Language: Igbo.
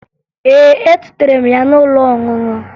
Ee, etutere m ya n'ụlọ ọṅụṅụ